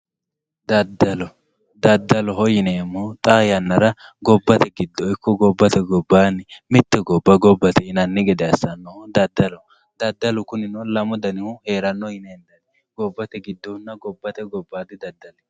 daddalo daddaloho yineemmohu xaa yannara gobbate giddo ikko gobbate gobbaanni mitte gobba gobbate yinanni gede assannohu daddaloho daddalu kunino lamu danihu heeranno yine hendanni gobbate giddohunna gobbate gobbayiidi daddali.